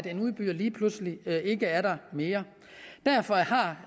en udbyder lige pludselig ikke er der mere derfor har